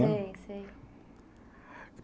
Sei, sei.